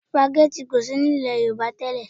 Spaghetti kò sí ní ilẹ̀ Yorùbá tẹ́lẹ̀